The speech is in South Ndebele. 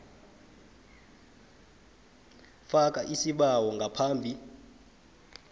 faka isibawo ngaphambi